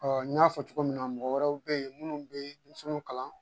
n y'a fɔ cogo min na mɔgɔ wɛrɛw bɛ yen minnu bɛ denmisɛnw kalan